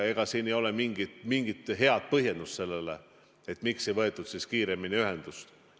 Ega siin ei ole mingit head põhjendust sellele, miks ei võetud siis kiiremini ühendust.